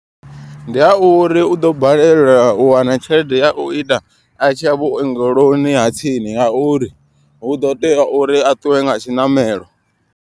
Ndi ha uri u ḓo balelwa u wana tshelede ya u ita a tshi ya vhuongeloni ha tsini. Nga uri hu ḓo tea uri a ṱuwe nga tshiṋamelo.